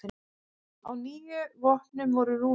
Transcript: Á níu vopnum voru rúnir.